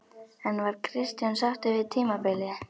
En var Kristján sáttur við tímabilið?